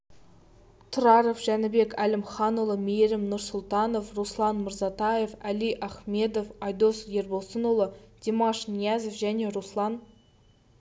тұраров жәнібек әлімханұлы мейірім нұрсұлтанов руслан мырсатаев әли ахмедов айдос ербосынұлы димаш ниязов және руслан